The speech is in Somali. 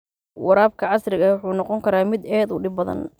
Waraabka casriga ahi wuxuu noqon karaa mid aad u dhib badan.